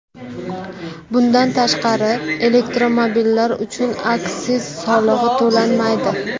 Bundan tashqari, elektromobillar uchun aksiz solig‘i to‘lanmaydi.